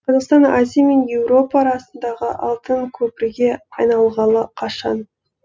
қазақстан азия мен еуропа арасындағы алтын көпірге айналғалы қашан